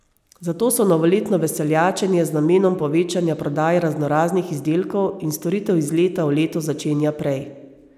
Zato se novoletno veseljačenje z namenom povečanja prodaje raznoraznih izdelkov in storitev iz leta v leto začenja prej.